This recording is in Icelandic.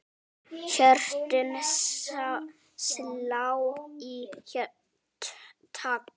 Hjörtun slá í takt.